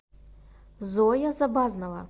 зоя забазнова